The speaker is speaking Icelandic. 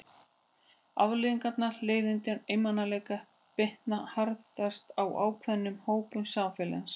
Afleiðingar leiðinda og einmanaleika bitna harðast á ákveðnum hópum samfélagsins.